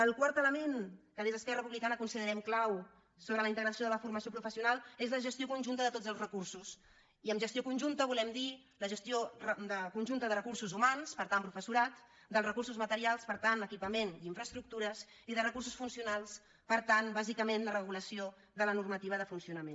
el quart element que des d’esquerra republicana considerem clau sobre la integració de la formació professional és la gestió conjunta de tots els recursos i amb gestió conjunta volem dir la gestió conjunta de recursos humans per tant professorat dels recursos materials per tant equipament i infraestructures i de recursos funcionals per tant bàsicament la regulació de la normativa de funcionament